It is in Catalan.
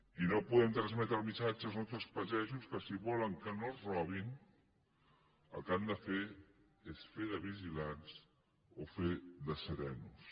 i no podem transmetre el missatge als nostres pagesos que si volen que no els robin el que han de fer és fer de vigilants o fer de serenos